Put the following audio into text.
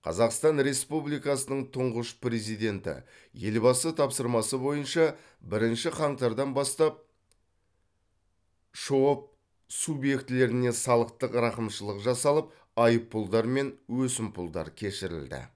қазақстан республикасының тұңғыш президенті елбасы тапсырмасы бойынша бірінші қаңтардан бастап шоб субъектілеріне салықтық рақымшылық жасалып айыппұлдар мен өсімпұлдар кешірілді